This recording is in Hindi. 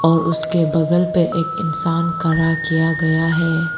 और उसके बगल पे एक इंसान खड़ा किया गया है।